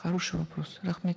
хороший вопрос рахмет